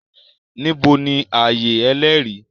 Níbo ni ààyè Ẹlẹ́rìí?